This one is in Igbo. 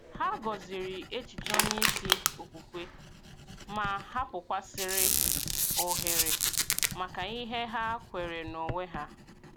Hà gọ̀zìrì echiche onye isi okwukwe, ma hapụ̀kwasị̀rị́ ohere maka ihe ha kweere n’onwe ha.